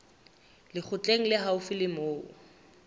lekgotleng le haufi le moo